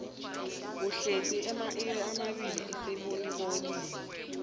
uhlezi amairi amabili asesibonibonini